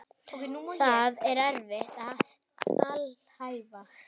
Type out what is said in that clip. Það er erfitt að alhæfa.